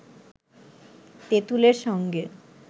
তেতুঁলের সঙ্গে